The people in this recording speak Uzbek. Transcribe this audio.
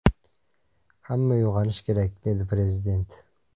Hamma uyg‘onishi kerak”, dedi Prezident.